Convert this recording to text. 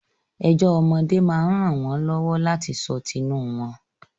Ẹjọ́ ọmọdé máa ń ràn wọ́n lọ́wọ́ láti sọ tinú wọ́n.